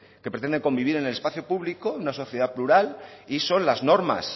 que pretenden convivir en el espacio público en una sociedad plural y son las normas